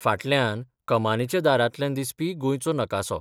फाटल्यान कमानीच्या दारांतल्यान दिसपी गोंयचो नकासो.